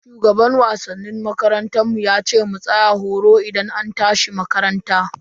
Shugaban wasannin makarantar mu yace mu tsaya horo idan an tashi makaranta.